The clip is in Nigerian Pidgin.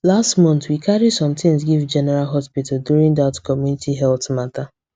last month we carry some things give general hospital during that community health matter